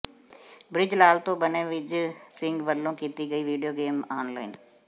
bridge Lal ਤੋਂ ਬਣੇ ਵਿਜੇ ਸਿੰਘ ਵਲੋਂ ਕੀਤੀ ਗਈ ਵੀਡੀਓ ਗੇਮ ਆਨਲਾਈਨ